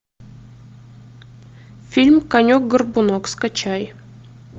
фильм конек горбунок скачай